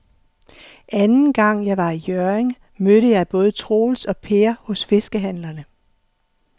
Anden gang jeg var i Hjørring, mødte jeg både Troels og Per hos fiskehandlerne.